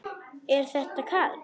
Er þetta Karl?